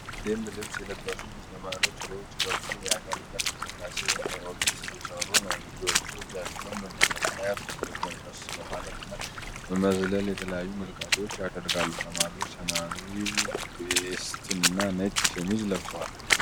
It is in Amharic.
ደንብ ልብስ የለበሱ ብዙ ተማሪዎች በውጪ በኩል የአካል ብቃት እንቅስቃሴ (ኤሮቢክስ) እየሠሩ ነው። ልጆቹ እጃቸውን በመዘርጋት፣ ጎንበስ በማለት እና በመዝለል የተለያየ እንቅስቃሴ ያደርጋሉ። ተማሪዎቹ ሰማያዊ ቬስት እና ነጭ ሸሚዝ ለብሰዋል።